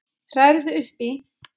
Hrærðu upp í!